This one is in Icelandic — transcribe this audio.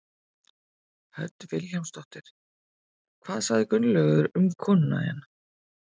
Hödd Vilhjálmsdóttir: Hvað sagði Gunnlaugur um konuna þína?